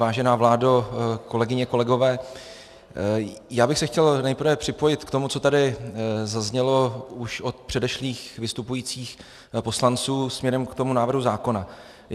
Vážená vládo, kolegyně, kolegové, já bych se chtěl nejprve připojit k tomu, co tady zaznělo už od předešlých vystupujících poslanců směrem k tomu návrhu zákona.